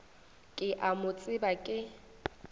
ke a mo tseba ke